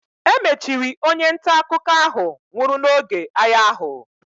E mechiri onye nta akụkọ ahụ nwụrụ n'oge agha ahụ.